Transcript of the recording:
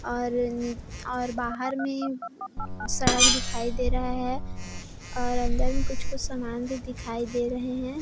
और नि और बाहर में सड़क दिखाई दे रहा है और अंदर में कुछ-कुछ सामान भी दिखाई दे रहे हैं।